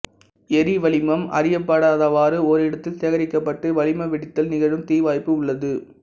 எரிவளிமம் அறியப்படாதவாறு ஓரிடத்தில் சேகரிக்கப்பட்டு வளிம வெடித்தல் நிகழும் தீவாய்ப்பு உள்ளது